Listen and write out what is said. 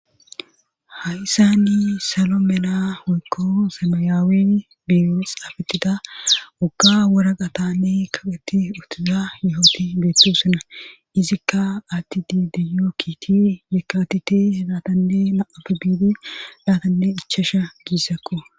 Ha'issani solo mena hoykko semeyaawi biibi xaafetida ogga wora qatanne kaqeti uttiza yohoti beetto sina izikka addi didiyo kiti yekaatite hidatanne naafi biidi dhaatanne ichasha giissakko